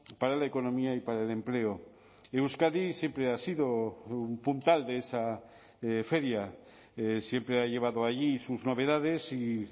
para la economía y para el empleo euskadi siempre ha sido un puntal de esa feria siempre ha llevado allí sus novedades y